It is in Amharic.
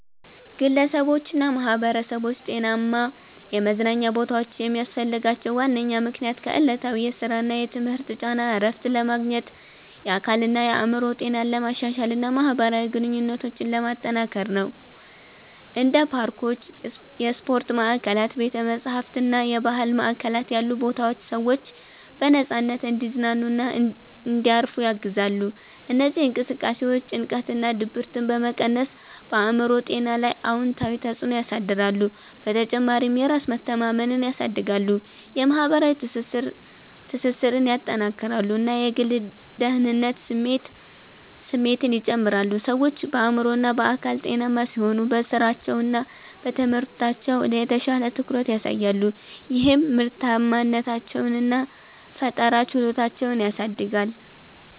ግለሰቦችና ማኅበረሰቦች ጤናማ የመዝናኛ ቦታዎችን የሚያስፈልጋቸው ዋነኛ ምክንያት ከዕለታዊ የሥራና የትምህርት ጫና እረፍት ለማግኘት፣ የአካልና የአእምሮ ጤናን ለማሻሻል እና ማኅበራዊ ግንኙነቶችን ለማጠናከር ነው። እንደ ፓርኮች፣ የስፖርት ማዕከላት፣ ቤተ-መጻሕፍት እና የባህል ማዕከላት ያሉ ቦታዎች ሰዎች በነፃነት እንዲዝናኑና እንዲያርፉ ያግዛሉ። እነዚህ እንቅስቃሴዎች ጭንቀትንና ድብርትን በመቀነስ በአእምሮ ጤና ላይ አዎንታዊ ተጽዕኖ ያሳድራሉ። በተጨማሪም የራስ መተማመንን ያሳድጋሉ፣ የማኅበራዊ ትስስርን ያጠናክራሉ እና የግል ደህንነት ስሜትን ይጨምራሉ። ሰዎች በአእምሮና በአካል ጤናማ ሲሆኑ በሥራቸውና በትምህርታቸው የተሻለ ትኩረት ያሳያሉ፣ ይህም ምርታማነታቸውን እና ፈጠራ ችሎታቸውን ያሳድጋል